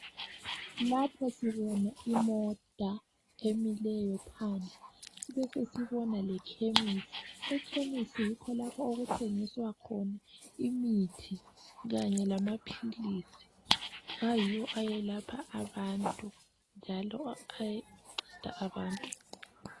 Lapha sibona imota emileyo phandle sibesesibona lekhemisi ekhemisi yikho lapho okuthengiswa khona imithi Kanye lamaphilisi ayiwo ayelapha abantu njalo anceda abantu